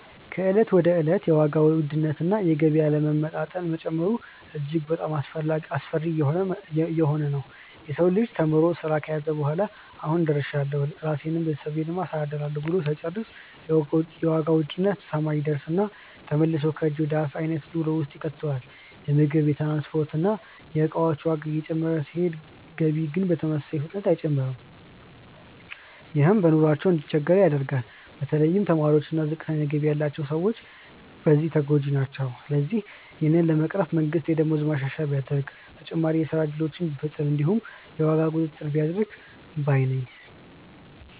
ከእለት ወደ እለት የዋጋ ውድነት እና የገቢ አለመመጣጠን መጨመሩ እጅግ በጣሞ አስፈሪ እየሆነ ነዉ። የሰው ልጅ ተምሮ ስራ ከያዘ በኋላ "አሁን ደርሻለሁ ራሴንም ቤተሰቤንም አስተዳድራለሁ" ብሎ ሳይጨርስ የዋጋ ውድነት ሰማይ ይደርስና ተመልሶ ከእጅ ወደ አፍ አይነት ኑሮ ውስጥ ይከተዋል። የምግብ፣ የትራንስፖርት እና የእቃዎች ዋጋ እየጨመረ ሲሄድ ገቢ ግን በተመሳሳይ ፍጥነት አይጨምርም። ይህም ሰዎች በኑሯቸው እንዲቸገሩ ያደርገዋል። በተለይ ተማሪዎች እና ዝቅተኛ ገቢ ያላቸው ሰዎች በዚህ ተጎጂ ናቸው። ስለዚህ ይህንን ለመቅረፍ መንግስት የደሞዝ ማሻሻያ ቢያደርግ፣ ተጨማሪ የስራ እድሎችን ቢፈጥር እንዲሁም የዋጋ ቁጥጥር ቢያደርግ ባይ ነኝ።